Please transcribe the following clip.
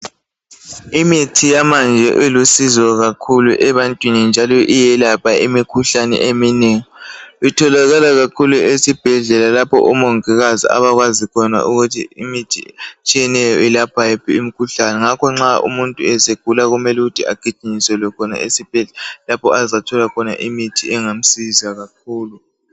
Imithi yamanje ilusizo kakhulu ebantwini njalo iyelapha imikhuhlane eminengi. Itholakala kakhulu esibhedlela lapho omongikazi abakwazi khona ukuthi imithi etshiyeneyo ilapha yiphi umkhuhlane. Ngakho nxa umuntu esegula agijinyiselwe khona esibhedlela lapho angathola khona imithi engamsiza kakhulu.